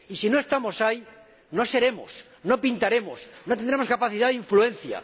Y si no estamos ahí, no seremos, no pintaremos, no tendremos capacidad de influencia.